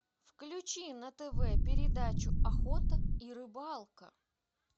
включи на тв передачу охота и рыбалка